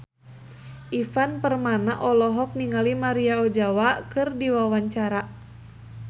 Ivan Permana olohok ningali Maria Ozawa keur diwawancara